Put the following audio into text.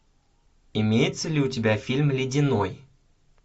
имеется ли у тебя фильм ледяной